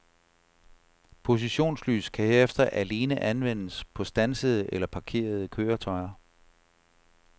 Positionslys kan herefter alene anvendes på standsede eller parkerede køretøjer.